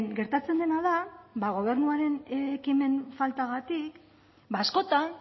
gertatzen dena da gobernuaren ekimen faltagatik askotan